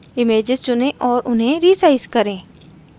images चुनें और उन्हें resize करें